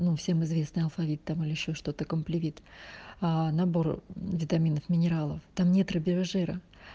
ну всем известный алфавит там или ещё что-то компливит набор витаминов минералов там нет рыбьего жира